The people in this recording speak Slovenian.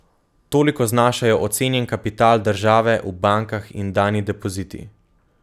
Toliko znašajo ocenjen kapital države v bankah in dani depoziti.